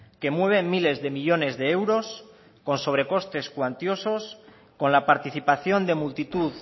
que mueve miles de millónes de euros con sobrecostes cuantiosos con la participación de multitud